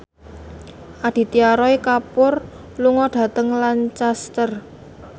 Aditya Roy Kapoor lunga dhateng Lancaster